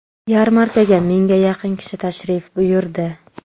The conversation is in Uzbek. Yarmarkaga mingga yaqin kishi tashrif buyurdi.